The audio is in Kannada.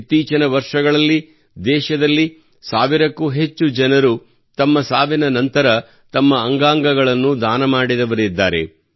ಇತ್ತೀಚಿನ ವರ್ಷಗಳಲ್ಲಿ ದೇಶದಲ್ಲಿ ಸಾವಿರಕ್ಕೂ ಹೆಚ್ಚು ಜನರು ತಮ್ಮ ಸಾವಿನ ನಂತರ ತಮ್ಮ ಅಂಗಗಳನ್ನು ದಾನ ಮಾಡಿದರಿದ್ದಾರೆ